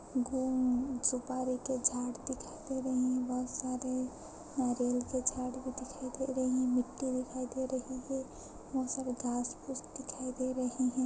घूम सुपारी के झाड़ दिखाई दे रहे हैं बोहोत सारे नारियल के झाड़ दिखाई दे रहे हैं मिट्टी दिखाई दे रही है बोहोत सारेघाँस फूँस दिखाई दे रहे है।